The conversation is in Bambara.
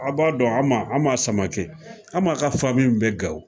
Aw b'a dɔn Ama Ama Samakɛ, Ama Samake ka fami bɛ Gawo